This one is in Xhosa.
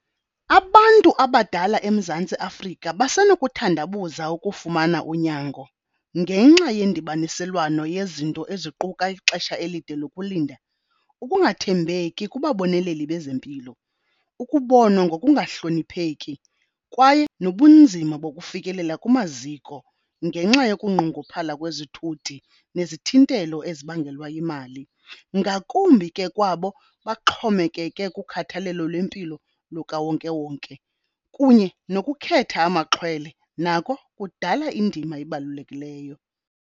Abantu abadala eMzantsi Afrika basenokuthandabuza ukufumana unyango ngenxa yendibaniselwano yezinto eziquka ixesha elide lokulinda, ukungathembeki kubaboneleli bezempilo, ukubonwa ngokungahlonipheki kwaye nobunzima bokufikelela kumaziko ngenxa yokunqongophala kwezithuthi nezithintelo ezibangelwa yimali. Ngakumbi ke kwabo baxhomekeke kukhathalelo lwempilo lukawonkewonke, kunye nokukhetha amaxhwele nako kudala indima ebalulekileyo.